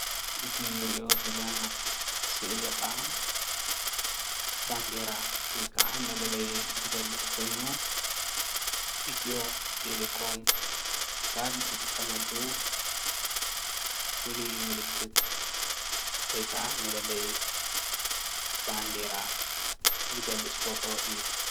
እዚ እንሪኦ ዘለና ስእሊ ከዓ ባንዴራ ወይ ከዓ መለለይ ዝገልፅ ኮይኑ ኢትዮ - ቴለኮም ትካል ዝጥቀመሉ ፍሉይ ምልክት ወይ ከዓ መለለይ ባንዴራ ዝገልፅ ፎቶ እዩ፡፡